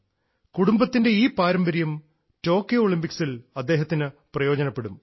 കുടുംബത്തിൻറെ ഈ പാരമ്പര്യം ടോക്കിയോ ഒളിമ്പിക്സിൽ അദ്ദേഹത്തിന് പ്രയോജനപ്പെടും